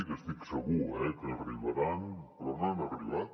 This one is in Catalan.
que n’estic segur eh que arribaran però no han arribat